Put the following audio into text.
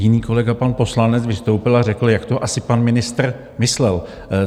Jiný kolega pan poslanec vystoupil a řekl, jak to asi pan ministr myslel.